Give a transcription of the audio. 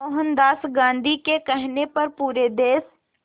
मोहनदास गांधी के कहने पर पूरे देश